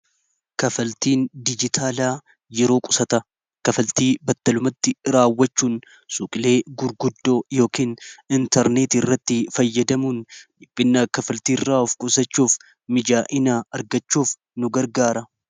Kafaltiin dijitaalaa yeroo qusata kafaltii battalumatti raawwachuun suqilee gurguddoo yookn intarneeti irratti fayyadamuun dhibinnaa kafaltii irraa of qusachuuf mijaa'inaa argachuuf nu gargaara.